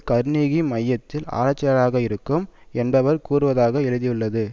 Carnegie மையத்தில் ஆராய்ச்சியாளராக இருக்கும் என்பவர் கூறுவதாக எழுதியுள்ளது